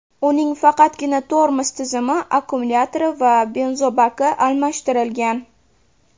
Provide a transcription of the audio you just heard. Uning faqatgina tormoz tizimi, akkumulyatori va benzobaki almashtirilgan.